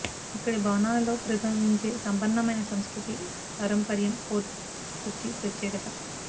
ఇక్కడి భవనాలలో ప్రతిబింబించే సంపన్నమైన సంస్కృతీ పారంపర్యం ఫోర్ట్ కొచ్చి ప్రత్యేకత